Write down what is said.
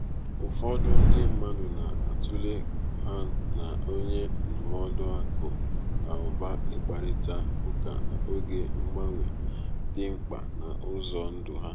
ụfọdụ ndi mmadụ na-atụle ha na onye ndụmọdụ aku na uba ikparita uka n’oge mgbanwe dị mkpa n’ụzọ ndụ ha.